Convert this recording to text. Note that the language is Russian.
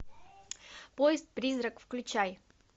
поезд призрак включай